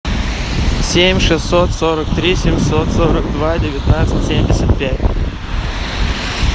семь шестьсот сорок три семьсот сорок два девятнадцать семьдесят пять